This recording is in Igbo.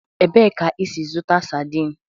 Ebee ka ị si zụta sadin?